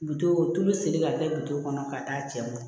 Bitɔn tulu siri ka kɛ bito kɔnɔ ka taa cɛ ma